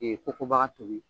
kokobaga tobi.